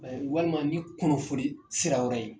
walima ni kunnafoni sira wɛrɛ ye.